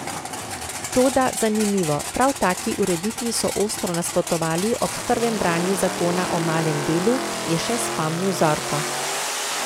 Toda, zanimivo, prav taki ureditvi so ostro nasprotovali ob prvem branju zakona o malem delu, je še spomnil Zorko.